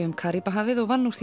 um Karíbahafið og vann úr